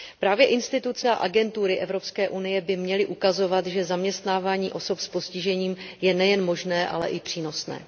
Právě instituce a agentury Evropské unie by měly ukazovat, že zaměstnávání osob s postižením je nejen možné, ale i přínosné.